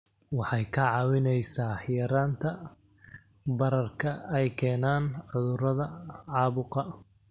Waxay kaa caawinaysaa yaraynta bararka ay keenaan cudurrada caabuqa.